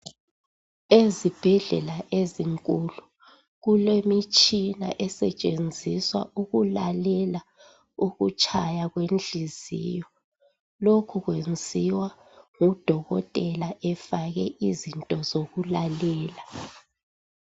ezibhedlela ezinkulu kulemitshina esetshenziswa ukulalela ukutshaya kwenhliziyo lokhu kwenziwa ngu dokotela efake izinto zokulalela